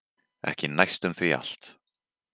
Ekki næstum því allt.